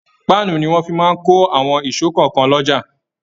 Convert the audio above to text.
Pàanu ni wọn máa ń fí kò àwọn ìsò kankan l'oja